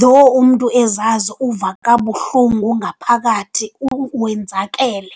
though umntu ezazi uva kabuhlungu ngaphakathi wenzakele.